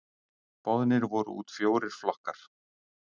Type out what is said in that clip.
Boðnir voru út fjórir flokkar.